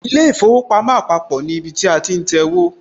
ilé īfowòpamó àpapò ní ibi tí a ti ń tẹwó